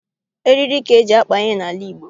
Eriri ka eji akpa ihe n'ala Igbo